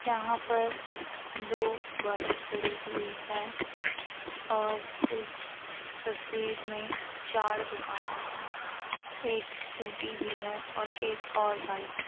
यहाँ पर दो बाईक खड़ी हुई हैं और इस तस्‍वीर में चार दुकाने हैं। एक स्‍कूटी भी है और एक और बाईक है।